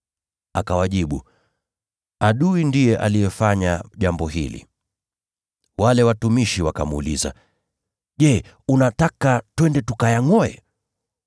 “Akawajibu, ‘Adui ndiye alifanya jambo hili.’ “Wale watumishi wakamuuliza, ‘Je, unataka twende tukayangʼoe?’